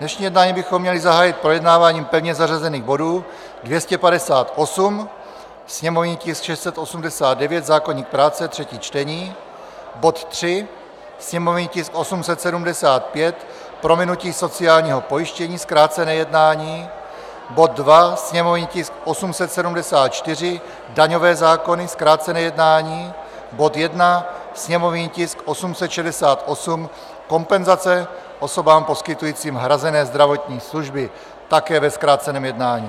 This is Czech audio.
Dnešní jednání bychom měli zahájit projednáváním pevně zařazených bodů 258, sněmovní tisk 689, zákoník práce, třetí čtení; bod 3, sněmovní tisk 875, prominutí sociálního pojištění, zkrácené jednání; bod 2, sněmovní tisk 874, daňové zákony, zkrácené jednání; bod 1, sněmovní tisk 868, kompenzace osobám poskytujícím hrazené zdravotní služby, také ve zkráceném jednání.